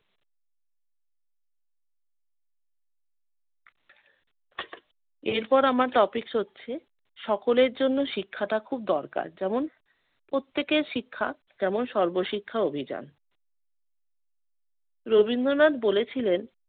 এরপর আমার topics হচ্ছে সকলের জন্য শিক্ষাটা খুব দরকার যেমন- প্রত্যেকের শিক্ষা তেমন সর্বশিক্ষা অভিযান। রবীন্দ্রনাথ বলেছিলেন